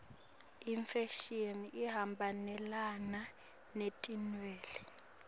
imfashini ihambelana netinwele